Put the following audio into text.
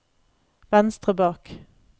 venstre bak